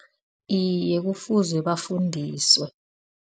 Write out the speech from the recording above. Iye, kufuze bafundiswe.